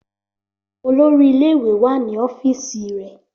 Olórí ilé ìwé wá ní ọ́fíìsì rè